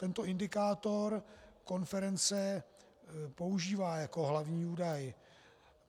Tento indikátor konference používá jako hlavní údaj.